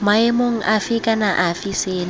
maemong afe kana afe seno